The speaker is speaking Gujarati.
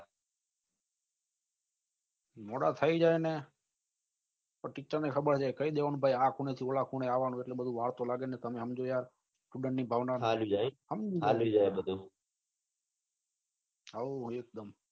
મોડા થઇ જાય ને તો teacher ને ખબર છે કઈ દેવા નું ભાઈ આ ખૂણે થી પેલા ખૂણે આવવાનું એટલે વાળ ખોલાવજે તમે સમજો યાર ખબર ની સમજી જવાનું હોઉં એકદમ